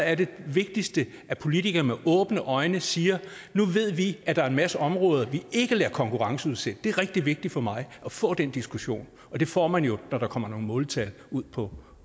er det vigtigste at politikere med åbne øjne siger nu ved vi at der er en masse områder vi ikke lader konkurrenceudsætte det er rigtig vigtigt for mig at få den diskussion og det får man jo når der kommer nogle måltal ud på